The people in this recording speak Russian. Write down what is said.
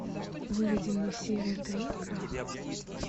выведи мне серия три крах